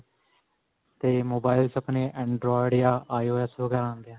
ਤੇ mobile 'ਚ ਆਪਣੇ android ਜਾਂ IOS ਵਗੈਰਾ ਹੁੰਦੇ ਹੈ.